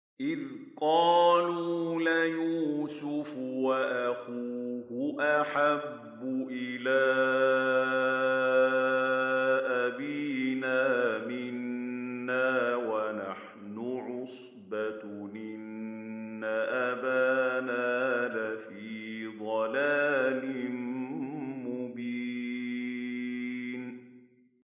إِذْ قَالُوا لَيُوسُفُ وَأَخُوهُ أَحَبُّ إِلَىٰ أَبِينَا مِنَّا وَنَحْنُ عُصْبَةٌ إِنَّ أَبَانَا لَفِي ضَلَالٍ مُّبِينٍ